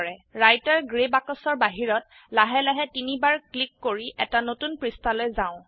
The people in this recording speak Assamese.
ৰাইটাৰ গ্ৰে বাক্সৰ বাহিৰত লাহে লাহে তিনিবাৰ ক্লিক কৰি এটা নতুন পৃষ্ঠালৈ যাও